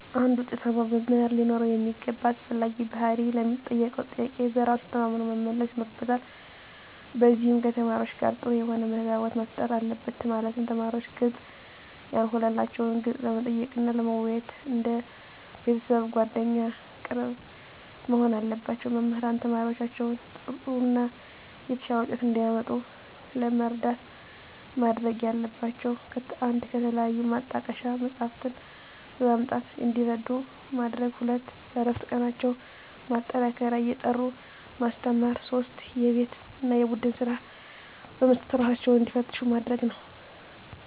አንድ ውጤታማ መምህር ሊኖረው የሚገባ አስፈላጊ ባህሪ ለሚጠየቀው ጥያቄ በራሱ ተማምኖ መመለስ ይኖርበታል ከዚም ከተማሪዎቹ ጋር ጥሩ የሆነ ተግባቦት መፍጠር አለበት ማለትም ተማሪዎች ግልጽ ያልሆነላቸውን ጥያቄ ለመጠየቅ እና ለመወያየት እንደ ቤተሰብ አንደ ጓደኛ ቅርብ መሆን አለባቸው። መምህራን ተማሪዎቻቸውን ጥሩ እና የተሻለ ውጤት እንዲያመጡ ለመርዳት ማድረግ ያለባቸው 1 ከተለያዩ ማጣቀሻ መፅሃፍትን በማምጣት እንዲረዱ ማድረግ 2 በእረፍት ቀናቸው ማጠናከሪያ እየጠሩ ማስተማር 3 የቤት እና የቡድን ስራ በመስጠት እራሳቸውን እንዲፈትሹ ማድረግ ነው